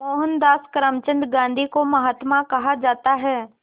मोहनदास करमचंद गांधी को महात्मा कहा जाता है